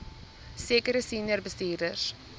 sekere senior bestuurders